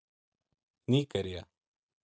Nígería